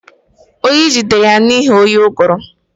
Oyi jidere ya n'ihi oyi ụgụrụ